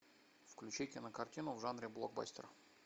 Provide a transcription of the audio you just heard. включи кинокартину в жанре блокбастер